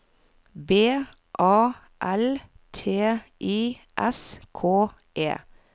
B A L T I S K E